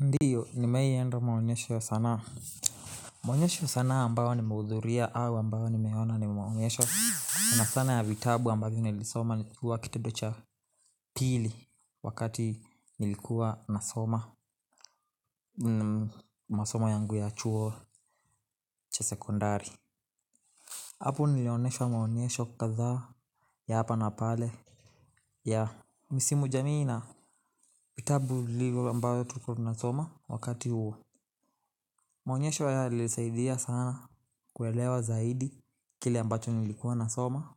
Ndio, nimewai enda maonyesho sanaa. Maonyesho ya sanaa ambayo nimehudhuria au ambayo nimeona ni maonyesho. Sana sana ya vitabu ambavyo nilisoma nikiwa kitado cha pili wakati nilikuwa nasoma. Masomo yangu ya chuo cha sekondari. Hapo nilioneshwa maonyesho kadhaa ya hapa na pale ya misimu jamii na. Vitabu vilivyo ambayo tulikuwa tunasoma wakati huo. Maonyesho yalisaidia sana kuelewa zaidi kile ambacho nilikuwa nasoma.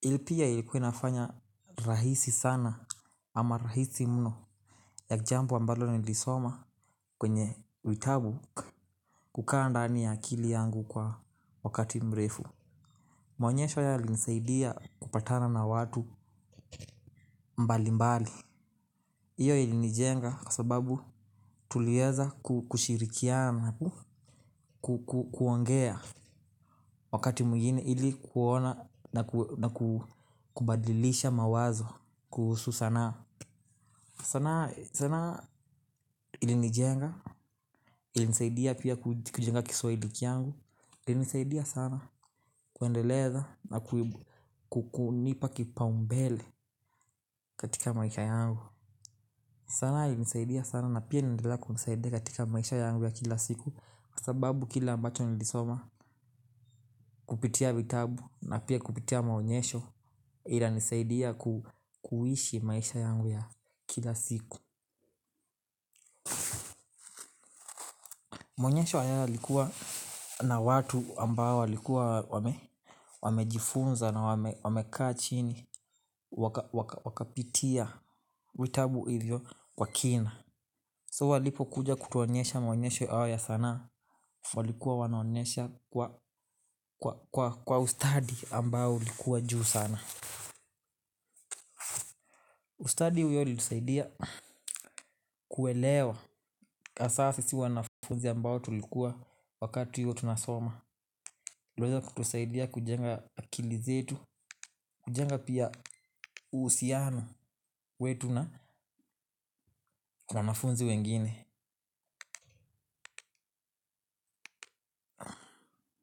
Ilipia ilikuwa inafanya rahisi sana ama rahisi mno ya jambo ambalo nilisoma kwenye vitabu kukaa ndani ya akili yangu kwa wakati mrefu. Maonyesho yalinisaidia kupatana na watu mbali mbali. Iyo ilinijenga kwa sababu tulieza kushirikiana. Kuongea wakati mwigine ili kuona na kubadilisha mawazo kuhusu sanaa. Sanaa ilinijenga ilinisaidia pia kujenga kiswahili kyangu. Ilinisaidia sana kuendeleza na kukunipa kipaumbele katika maisha yangu. Sanaa ilinisaidia sana na pia inaendelea kunisaidia katika maisha yangu ya kila siku. Sababu kile ambacho nilisoma kupitia vitabu na pia kupitia maonyesho. Inanisaidia kuishi maisha yangu ya kila siku. Maonyesho haya yalikuwa na watu ambao wamejifunza na wamekaa chini. Wakapitia vitabu hivyo kwa kina So walipo kuja kutuonyesha maonyesho ao ya sanaa. Walikuwa wanaonyesha kwa ustadi ambao ulikuwa juu sana. Ustadi huyo ilitusaidia kuelewa hasaa sisi wanafunzi ambao tulikuwa wakati huo tunasoma iliweza kutusaidia kujenga akili zetu, kujenga pia uhusiano wetu na wanafunzi wengine.